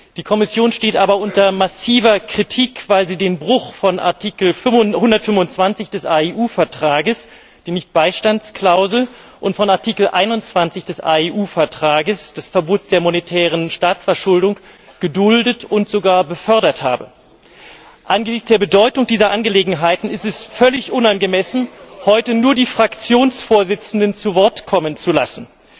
Die Kommission steht aber unter massiver Kritik, weil sie den Bruch von Artikel 125 des AEU Vertrages der Nichtbeistandsklausel und von Artikel 21 des AEU Vertrages des Verbots der monetären Staatsverschuldung geduldet und sogar gefördert habe. Angesichts der Bedeutung dieser Angelegenheiten ist es völlig unangemessen, heute nur die Fraktionsvorsitzenden zu Wort kommen zu lassen.